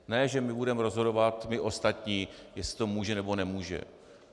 Ne že my budeme rozhodovat, my ostatní, jestli to může, nebo nemůže.